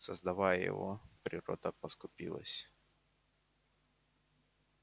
создавая его природа поскупилась